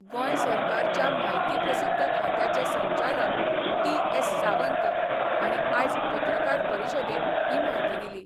गोंय सरकारच्या म्हायती प्रसिद्धी खात्याचे संचालक टी एस सावंत हांणी आयज पत्रकार परिशदेत ही म्हायती दिली.